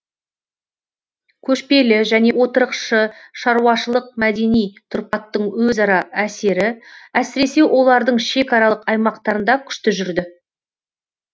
көшпелі және отырықшы шаруашылық мәдени тұрпаттың өзара әсері әсіресе олардың шекаралық аймақтарында күшті жүрді